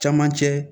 Camancɛ